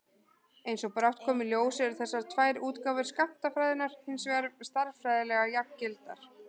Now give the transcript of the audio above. Eins og brátt kom í ljós eru þessar tvær útgáfur skammtafræðinnar hins vegar stærðfræðilega jafngildar.